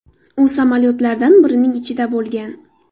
U samolyotlardan birining ichida bo‘lgan.